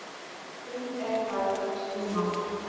um er að ræða tvö mál.